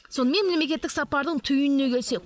сонымен мемлекеттік сапардың түйініне келсек